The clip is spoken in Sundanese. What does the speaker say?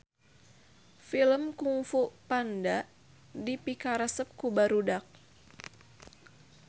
Film Kungfu Panda dipikaresep ku barudak